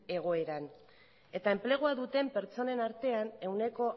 egoeran eta enplegua duten pertsonen artean ehuneko